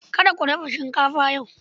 Kada ku dafa shinkafa yau.